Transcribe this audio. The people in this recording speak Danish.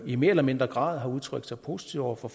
i mere eller mindre grad har udtrykt sig positivt over for